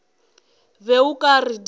be o ka re di